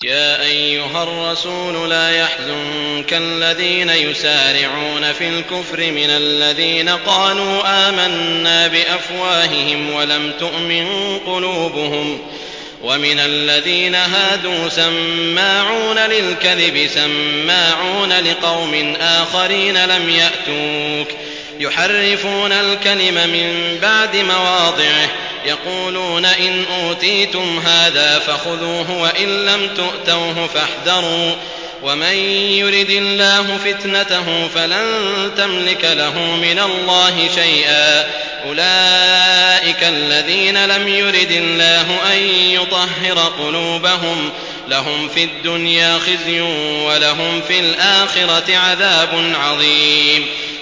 ۞ يَا أَيُّهَا الرَّسُولُ لَا يَحْزُنكَ الَّذِينَ يُسَارِعُونَ فِي الْكُفْرِ مِنَ الَّذِينَ قَالُوا آمَنَّا بِأَفْوَاهِهِمْ وَلَمْ تُؤْمِن قُلُوبُهُمْ ۛ وَمِنَ الَّذِينَ هَادُوا ۛ سَمَّاعُونَ لِلْكَذِبِ سَمَّاعُونَ لِقَوْمٍ آخَرِينَ لَمْ يَأْتُوكَ ۖ يُحَرِّفُونَ الْكَلِمَ مِن بَعْدِ مَوَاضِعِهِ ۖ يَقُولُونَ إِنْ أُوتِيتُمْ هَٰذَا فَخُذُوهُ وَإِن لَّمْ تُؤْتَوْهُ فَاحْذَرُوا ۚ وَمَن يُرِدِ اللَّهُ فِتْنَتَهُ فَلَن تَمْلِكَ لَهُ مِنَ اللَّهِ شَيْئًا ۚ أُولَٰئِكَ الَّذِينَ لَمْ يُرِدِ اللَّهُ أَن يُطَهِّرَ قُلُوبَهُمْ ۚ لَهُمْ فِي الدُّنْيَا خِزْيٌ ۖ وَلَهُمْ فِي الْآخِرَةِ عَذَابٌ عَظِيمٌ